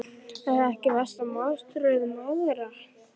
Er það ekki versta martröð mæðra?